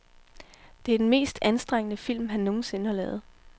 Det er den mest anstrengende film, han nogen sinde har lavet.